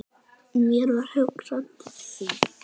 Mér varð hugsað til þín.